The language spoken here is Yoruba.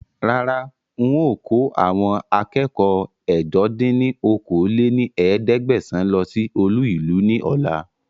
Rárá ń ó kò àwọn akẹ́kọ̀ọ́ ẹ̀jọ dín ní okòó-lé-ní-ẹ̀ẹ́dẹ́gbẹ́sán lọ síí olú ìlú ni ọ̀la